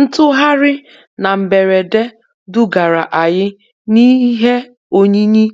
Ntugharị na mberede dugara anyị n'ihe oyiyi